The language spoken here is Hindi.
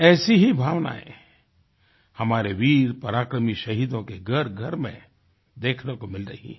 ऐसी ही भावनाएँ हमारे वीर पराक्रमी शहीदों के घरघर में देखने को मिल रही हैं